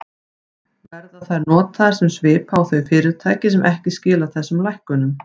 Verða þær notaðar sem svipa á þau fyrirtæki sem ekki skila þessum lækkunum?